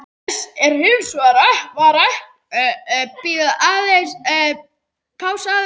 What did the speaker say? Þessu er hins vegar ekki að heilsa.